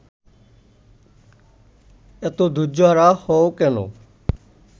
এত ধৈর্যহারা হও কেন